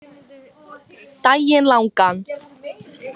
Daginn langan.